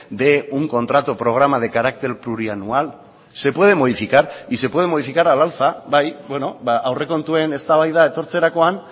de un contrato programa de carácter plurianual se puede modificar y se puede modificar al alza aurrekontuen eztabaida etortzerakoan